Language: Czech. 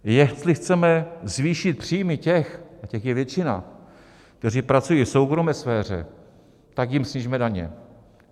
Jestli chceme zvýšit příjmy těch - a těch je většina - kteří pracují v soukromé sféře, tak jim snížíme daně.